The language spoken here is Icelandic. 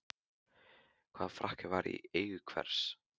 Hvaða frakki var í eigu hvers?